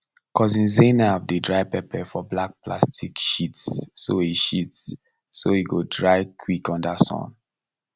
cousin zainab dey dry pepper for black plastic sheets so e sheets so e go dry quick under sun